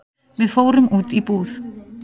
Við fórum út í búð.